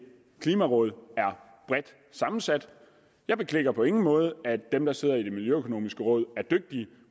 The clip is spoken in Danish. klimaråd er bredt sammensat jeg beklikker på ingen måde at dem der sidder i det miljøøkonomiske råd er dygtige